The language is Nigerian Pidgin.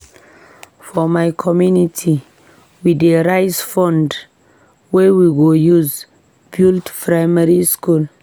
For my community, we dey raise fund wey we go use build primary school.